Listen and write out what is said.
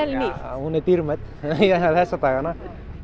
já hún er dýrmæt þessa dagana